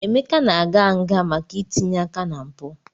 Emeka na-aga nga maka itinye aka na mpụ.